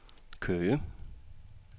Køge